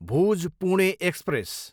Bhuj, Pune express